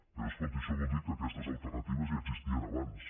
però escolti això vol dir que aquestes alternatives ja existien abans